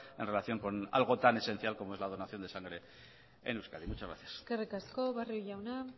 en relación en algo tan esencial como es la donación de sangre en euskadi muchas gracias eskerrik asko barrio jauna